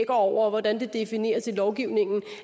over og hvordan det defineres i lovgivningen